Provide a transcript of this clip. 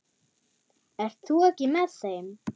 Ert þú ekki með þeim?